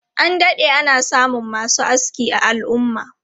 An dade ana samun masu aski a al'umma.